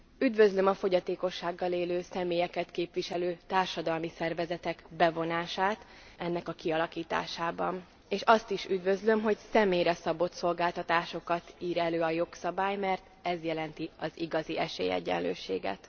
Üdvözlöm a fogyatékossággal élő személyeket képviselő társadalmi szervezetek bevonását ennek a kialakításába, és azt is üdvözlöm, hogy személyre szabott szolgáltatásokat ír elő a jogszabály, mert ez jelenti az igazi esélyegyenlőséget.